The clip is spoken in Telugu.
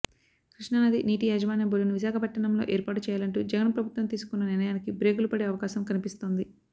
కృష్ణా నదీ నీటియాజమాన్య బోర్డును విశాఖపట్టణంలో ఏర్పాటు చేయాలంటూ జగన్ ప్రభుత్వం తీసుకున్న నిర్ణయానికి బ్రేకులు పడే అవకాశం కనిపిస్తోంది